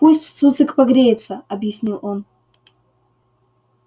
пусть цуцик погреется объяснил он